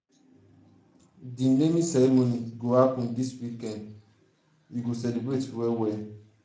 di naming ceremony go happen dis weekend weekend we go celebrate well well.